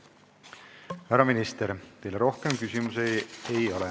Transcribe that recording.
Härra minister, teile rohkem küsimusi ei ole.